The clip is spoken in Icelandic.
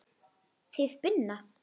Þið Binna?